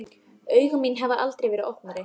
Augu mín hafa aldrei verið opnari.